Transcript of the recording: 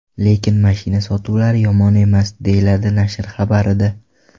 Lekin mashina sotuvlari yomon emas”, deyiladi nashr xabarida.